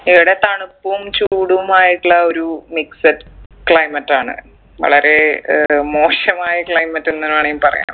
ഇവിടെ തണുപ്പും ചൂടുമായിട്ടുള്ള ഒരു mixed climate ആണ് വളരെ ഏർ മോശമായ climate എന്നു വേണേൽ പറയാം